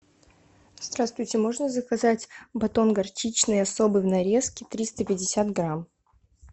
здравствуйте можно заказать батон горчичный особый в нарезке триста пятьдесят грамм